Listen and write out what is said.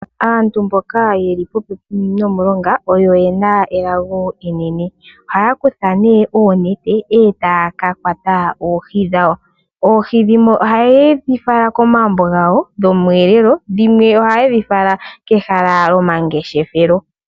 Aantu mboka yeli popepi nomulonga oyo yena elago enene. Ohaya kutha nee oonete etaya ka kwata oohi dhawo. Oohi dhimwe oha yedhi fala komagumbo gawo dhomweelelo, dhimwe oha yedhi fala kehala lyomangeshefelo.